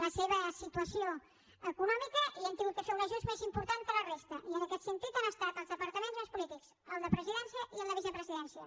la seva situació econòmica i hi hem hagut de fer un ajust més important que a la resta i en aquest sentit han estat els departaments més polítics el de presidència i el de vicepresidència